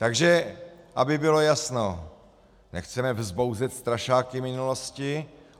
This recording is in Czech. Takže aby bylo jasno, nechceme vzbouzet strašáky minulosti.